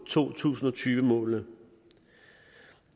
to tusind og tyve målene